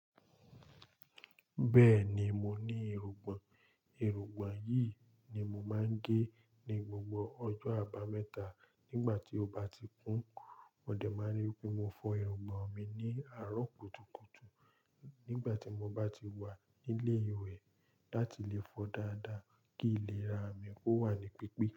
Bẹ́ẹ̀ni, mo ní irugbọn. Irugbọn yìí ni mo máa ń gé ní gbogbo ọjọ́ àbámẹ́ta. Nígbà tí ó bá ti kún, mo dẹ̀ máa rí pé mo fọ irugbọn mi ní àárọ̀ kùtùkùtù nígbà tí mo bá ti wà nílé ìwẹ̀ láti lè fọ dáadáa kí ìlera mi kó wà ní pípé.